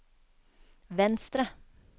venstre